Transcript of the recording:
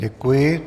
Děkuji.